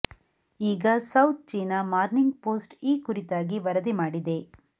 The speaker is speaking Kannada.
ಈಗ ಸೌತ್ ಚೀನಾ ಮಾರ್ನಿಂಗ್ ಪೋಸ್ಟ್ ಈ ಕುರಿತಾಗಿ ವರದಿ ಮಾಡಿದೆ